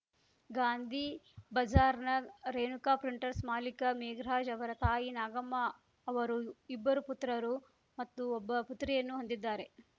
ಗಾಂಧಿ ಬಜಾರ್‌ನ ರೇಣುಕಾ ಪ್ರಿಂಟರ್ಸ್ ಮಾಲೀಕ ಮೇಘರಾಜ್‌ ಅವರ ತಾಯಿ ನಾಗಮ್ಮ ಅವರು ಇಬ್ಬರು ಪುತ್ರರು ಮತ್ತು ಒಬ್ಬ ಪುತ್ರಿಯನ್ನು ಹೊಂದಿದ್ದಾರೆ